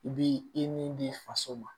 I b'i i ni faso ma